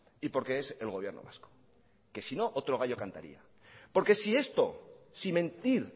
y porque es el gobierno vasco que sino otro gallo cantaría porque si esto si mentir